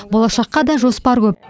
болашаққа да жоспар көп